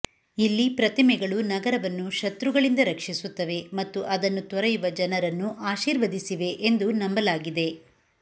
ಇಲ್ಲಿ ಪ್ರತಿಮೆಗಳು ನಗರವನ್ನು ಶತ್ರುಗಳಿಂದ ರಕ್ಷಿಸುತ್ತವೆ ಮತ್ತು ಅದನ್ನು ತೊರೆಯುವ ಜನರನ್ನು ಆಶೀರ್ವದಿಸಿವೆ ಎಂದು ನಂಬಲಾಗಿದೆ